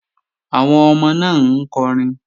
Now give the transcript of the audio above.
Àwọn ọmọ náà ń kọrin